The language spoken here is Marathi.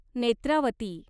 नेत्रावती